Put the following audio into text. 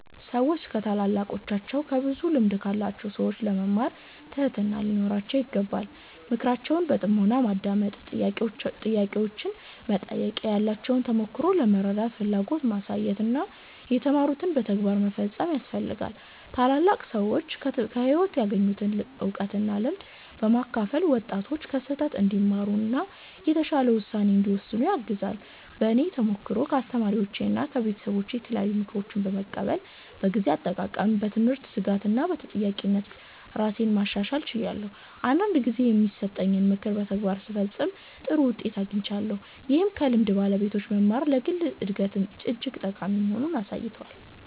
ሰዎች ከታላላቃቸው እና ከብዙ ልምድ ካላቸው ሰዎች ለመማር ትህትና ሊኖራቸው ይገባል። ምክራቸውን በጥሞና ማዳመጥ፣ ጥያቄዎችን መጠየቅ፣ ያላቸውን ተሞክሮ ለመረዳት ፍላጎት ማሳየት እና የተማሩትን በተግባር መፈጸም ያስፈልጋል። ታላላቅ ሰዎች ከህይወት ያገኙትን እውቀት እና ልምድ በማካፈል ወጣቶች ከስህተት እንዲማሩ እና የተሻለ ውሳኔ እንዲወስኑ ያግዛሉ። በእኔ ተሞክሮ ከአስተማሪዎቼና ከቤተሰቦቼ የተለያዩ ምክሮችን በመቀበል በጊዜ አጠቃቀም፣ በትምህርት ትጋት እና በተጠያቂነት ራሴን ማሻሻል ችያለሁ። አንዳንድ ጊዜ የተሰጠኝን ምክር በተግባር ስፈጽም ጥሩ ውጤት አግኝቻለሁ፣ ይህም ከልምድ ባለቤቶች መማር ለግል እድገት እጅግ ጠቃሚ መሆኑን አሳይቶኛል።